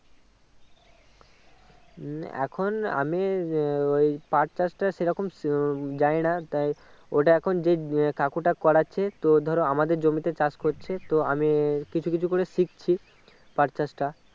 এখন আমি আহ ওই পাট চাষটা সেরকম উহ জানিনা তাই ওটা এখন যেই কাকুটা করেছে তো ধরো আমাদের জমিতে চাষ করছে তো আমি কিছু কিছু করে শিখছি পাট চাষটা